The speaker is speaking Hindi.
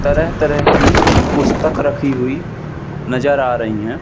तरह तरह की पुस्तक रखी हुई नजर आ रही है।